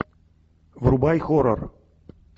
врубай хоррор